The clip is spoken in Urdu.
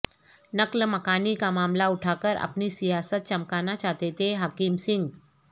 نقل مکانی کا معاملہ اٹھا کر اپنی سیاست چمکانا چاہتے تھے حکم سنگھ